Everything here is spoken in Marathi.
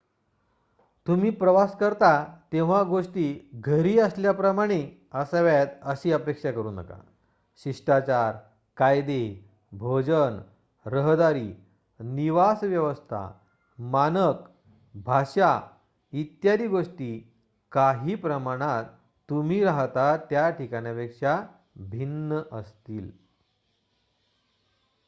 "तुम्ही प्रवास करता तेव्हा गोष्टी "घरी असल्याप्रमाणे" असाव्यात अशी अपेक्षा करू नका. शिष्टाचार कायदे भोजन रहदारी निवास व्यवस्था मानक भाषा इत्यादी गोष्टी काही प्रमाणात तुम्ही राहता त्याठिकाणापेक्षा भिन्न असतील.